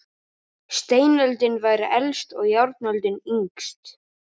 Steinöldin væri elst og járnöldin yngst.